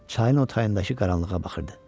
Çayın o tayındakı qaranlığa baxırdı.